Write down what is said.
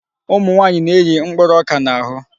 Ụmụnwaanyị na-eyi mkpụrụ ọka n'ahụ.